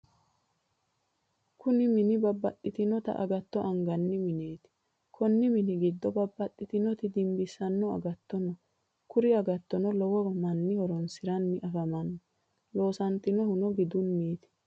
kuni mini babbaxxitinota aggatto anganni mineeti. konni mini giddo babbaxxitinoti dimbissanno aggatto no. kuri agatono lowo manni horoonsiranni afamanno. loosantannohu gidduniiti.